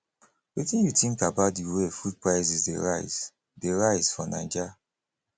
wetin you think about di way food prices dey rise dey rise for naija